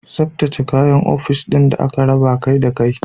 Tsaftace da tsaftace kayan ofis ɗin da aka raba akai akai.